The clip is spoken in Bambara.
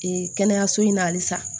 kɛnɛyaso in na halisa